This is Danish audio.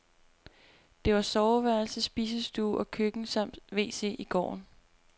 Der var soveværelse, spisestue og køkken samt wc i gården.